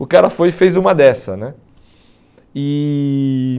O cara foi e fez uma dessa né. E